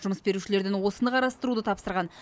жұмыс берушілерден осыны қарастыруды тапсырған